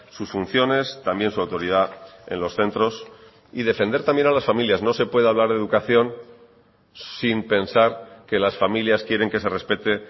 sus funciones también su autoridad en los centros y defender también a las familias no se puede hablar de educación sin pensar que las familias quieren que se respete